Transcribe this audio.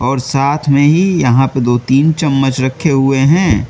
और साथ में ही यहां पे दो तीन चम्मच रखे हुए हैं।